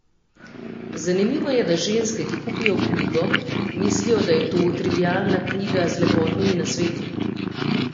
Zanimivo je, da ženske, ki kupijo knjigo, mislijo, da je to trivialna knjiga z lepotnimi nasveti.